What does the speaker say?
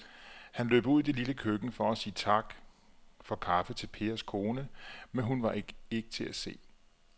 Han løb ud i det lille køkken for at sige tak for kaffe til Pers kone, men hun var ikke til at se.